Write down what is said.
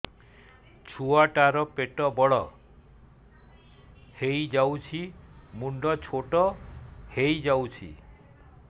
ଛୁଆ ଟା ର ପେଟ ବଡ ହେଇଯାଉଛି ମୁଣ୍ଡ ଛୋଟ ହେଇଯାଉଛି